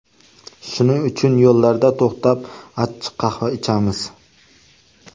Shuning uchun yo‘llarda to‘xtab achchiq qahva ichamiz.